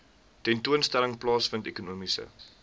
tentoonstelling plaasvind ekonomiese